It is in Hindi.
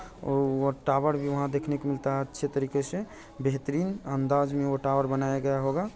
--और टावर भी वहां देखने को मिलता है अच्छे तरीके से बेहतरीन अंदाज में वह टावर बनाया गया होगा।